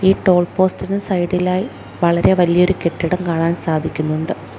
Toll പോസ്റ്റിന് സൈഡിലായി വളരെ വലിയൊരു കെട്ടിടം കാണാൻ സാധിക്കുന്നുണ്ട്.